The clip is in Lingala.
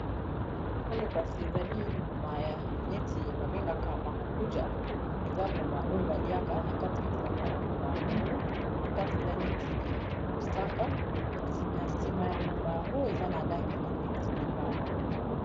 Oyo kasi ezali mbuma neti babengaka marakuja eza mbuma oyo baliaka na kati ezalaka mbuma ya mwindu na kati eza neti mosaka kasi na sima ya mbuma yango eza na langi neti lilala.